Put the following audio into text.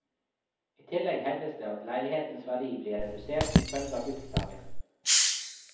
I tillegg hevdes det at leilighetenes verdi blir redusert som følge av luktplagene.